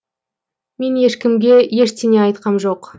мен ешкімге ештеңе айтқам жоқ